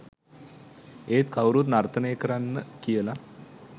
ඒත් කවුරුත් නර්තනය කරන්න කියලා